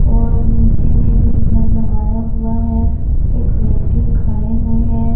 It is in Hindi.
और नीचे में भी घर बनाया हुआ है एक व्यक्ति खड़े हुए हैं।